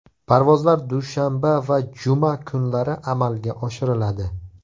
Parvozlar dushanba va juma kunlari amalga oshiriladi.